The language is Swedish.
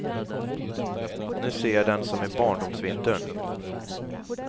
Nu ser jag den som i barndomsvintern.